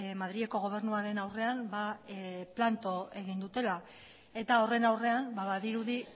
madrileko gobernuaren aurrean planto egin dutela eta horren aurrean badirudi